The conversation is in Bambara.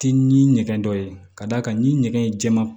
Ti ni ɲɛgɛn dɔ ye ka d'a kan ni ɲɛgɛn ye jɛma